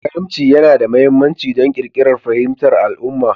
Karimci yana da mahimmanci don ƙirƙirar fahimtar al'umma